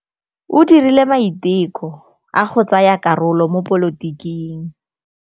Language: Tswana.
O dirile maitekô a go tsaya karolo mo dipolotiking.